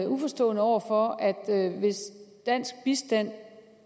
uforstående over for hvis dansk bistand